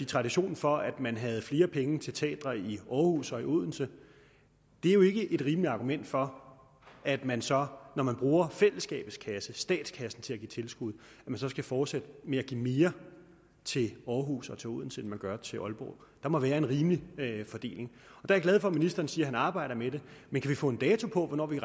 tradition for at man havde flere penge til teatre i århus og i odense er jo ikke et rimeligt argument for at man så når man bruger fællesskabets kasse statskassen til at give tilskud skal fortsætte med at give mere til århus og til odense end man gør til aalborg der må være en rimelig fordeling jeg er glad for at ministeren siger at han arbejder med det men kan vi få en dato for hvornår vi